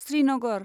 Srinagar